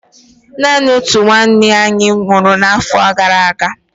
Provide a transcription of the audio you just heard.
Naanị otu nwanna anyị nwụrụ afọ abụọ gara aga.